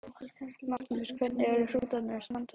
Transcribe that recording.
Magnús: Hvernig eru hrútarnir að standa sig?